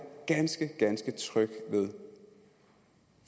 ganske ganske tryg ved